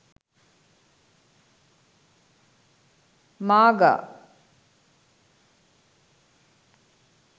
maga